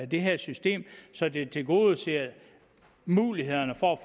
det her system så det tilgodeser mulighederne for at